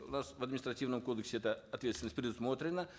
у нас в административном кодексе эта ответственность предусмотрена